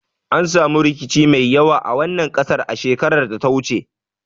An samu rikici mai yawa a wannan kasar a shekarar da ta wuce